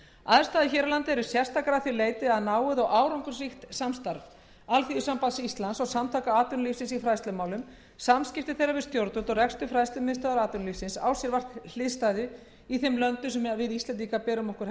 aðstæður hér á landi eru sérstakar að því leyti að náið og árangursríkt samstarf alþýðusambands íslands og samtaka atvinnulífsins í fræðslumálum samskipti þeirra við stjórnvöld og rekstur fræðslumiðstöðvar atvinnulífsins á sér vart hliðstæðu í þeim löndum sem íslendingar bera sig helst saman